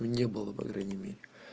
мне было по крайней мере